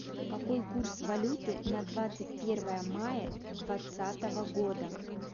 какой курс валюты на двадцать первое мая двадцатого года